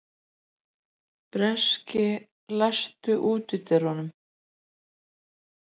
Bresi, læstu útidyrunum.